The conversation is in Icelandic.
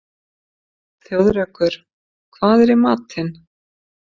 Þjóðrekur, hvað er í matinn?